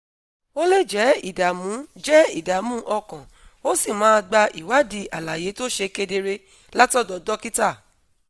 o lè jẹ́ ìdààmú jẹ́ ìdààmú ọkàn ó sì máa gba ìwádìí àlàyé tó ṣe kedere látọ̀dọ̀ dókítà